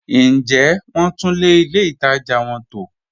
Ǹ jẹ wọn túnlẹ̀ ilẹ̀ ìtaja wọn tó?